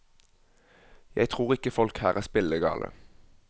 Jeg tror ikke folk her er spillegale.